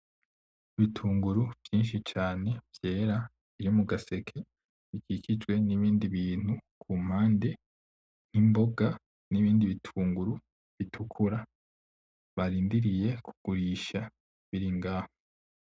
Ibitunguru vyinshi cane vyera biri mugaseke bikikijwe nibindi bintu kumpande, nkimboga, nibindi bitunguru bitukura barindiriye kugurisha biringaho.